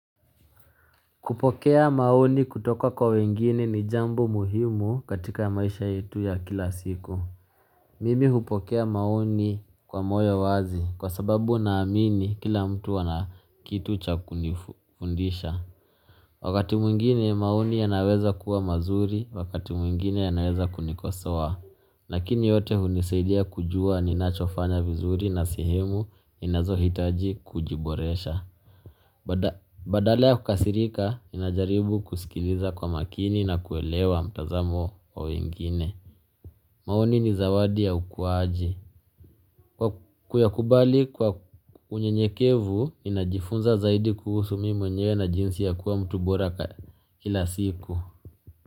Kupokea maoni kutoka kwa wengine ni jambo muhimu katika maisha yetu ya kila siku. Mimi hupokea maoni kwa moyo wazi kwa sababu naamini kila mtu ana kitu cha kunifundisha. Wakati mwingine maoni yanaweza kuwa mazuri, wakati mwingine yanaweza kunikoswa. Lakini yote hunisaidia kujua ninachofanya vizuri na sehemu ninazo hitaji kujiboresha. Badale ya kukasirika, ninajaribu kusikiliza kwa makini na kuelewa mtazamo wa wengine maoni ni zawadi ya ukuwaji. Kuyakubali kwa unyenyekevu, ninajifunza zaidi kuhusu mimi mwenyewe na jinsi ya kuwa mtu boraka kila siku.